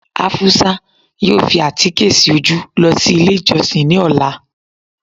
afusa yóò fi àtíkẹ́ sí ojú losí ilé ijosin ní ọla